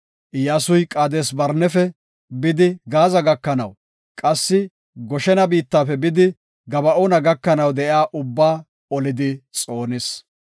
Iyyasuy Qaades-Barnefe bidi Gaaza gakanaw qassi Goshena biittafe bidi Gaba7oona gakanaw de7iya ubbaa olidi xoonis.